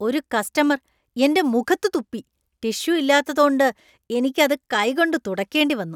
ഒരു കസ്റ്റമർ എന്‍റെ മുഖത്ത് തുപ്പി. ടിഷ്യു ഇല്ലാത്തതോണ്ട് എനിക്ക് അത് കൈകൊണ്ട് തുടയ്ക്കേണ്ടിവന്നു.